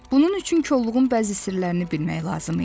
Bunun üçün kolluğun bəzi sirlərini bilmək lazım idi.